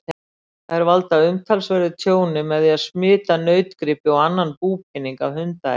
Þær valda umtalsverðu tjóni með því að smita nautgripi og annan búpening af hundaæði.